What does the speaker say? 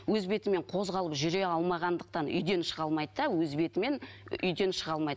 өз бетімен қозғалып жүре алмағандықтан үйден шыға алмайды да өз бетімен үйден шыға алмайды